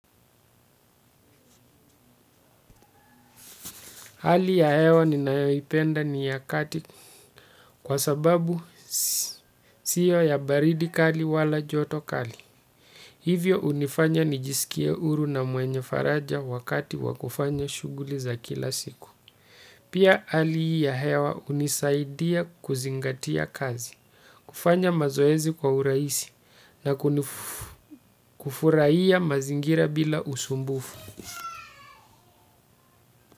Hali ya hewa ninayoipenda ni ya kati kwa sababu sio ya baridi kali wala joto kali. Hivyo hunifanya nijisikie huru na mwenye faraja wakati wa kufanya shughuli za kila siku. Pia hali ya hewa hunisaidia kuzingatia kazi, kufanya mazoezi kwa urahisi na kufurahia mazingira bila usumbufu.